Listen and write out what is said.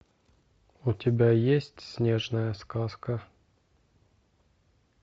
у тебя есть снежная сказка